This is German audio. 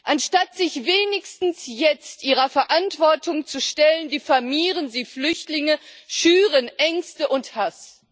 Anstatt sich wenigstens jetzt ihrer Verantwortung zu stellen, diffamieren sie Flüchtlinge, schüren Ängste und Hass.